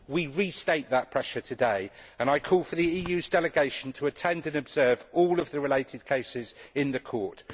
We restate that pressure today, and I call on the EU's delegation to attend and observe all the related cases in the court.